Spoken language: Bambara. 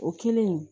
O kelen